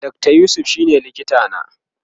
Dr yusuf shine likita na